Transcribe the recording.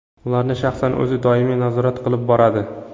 Ularni shaxsan o‘zi doimiy nazorat qilib boradi.